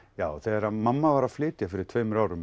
já þegar mamma var að flytja fyrir tveimur árum